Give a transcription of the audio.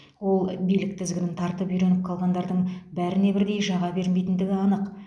ол билік тізгінін тартып үйреніп қалғандардың бәріне бірдей жаға бермейтіндігі анық